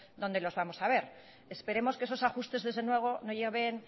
dónde los vamos a ver esperemos que esos ajustes desde luego no lleguen